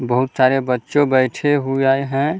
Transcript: बहोत सारे बच्चों बैठे हुए हैं ।